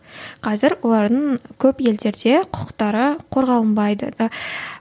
қазір олардың көп елдерде құқықтары қорғалынбайды